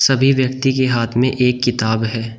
सभी व्यक्ति के हाथ में एक किताब है।